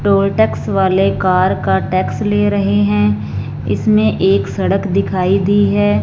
Toll tax वाले car का tax ले रहे हैं इसमें एक सड़क दिखाई दी है।